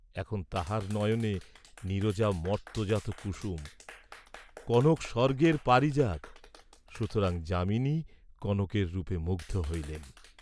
এখন তাঁহার নয়নে নীরজা মর্ত্ত্যজাত কুসুম, কনক স্বর্গের পারিজাত; সুতরাং যামিনী কনকের রূপে মুগ্ধ হইলেন।